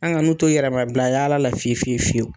An ka n'u to yɛrɛ ma bila yala la fiye fiye fiyewu.